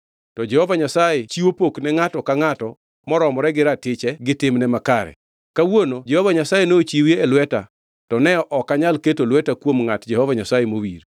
To Jehova Nyasaye chiwo pok ne ngʼato ka ngʼato moromore gi ratiche gi timne makare. Kawuono Jehova Nyasaye nochiwi e lweta to ne ok anyal keto lweta kuom ngʼat Jehova Nyasaye mowir.